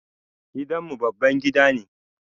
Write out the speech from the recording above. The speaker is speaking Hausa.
Gidan mu babban gida ne.